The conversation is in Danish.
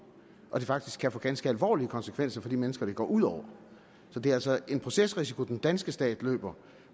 og at det faktisk kan få ganske alvorlige konsekvenser for de mennesker det går ud over så det er altså en procesrisiko den danske stat løber